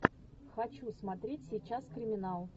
хочу смотреть сейчас криминал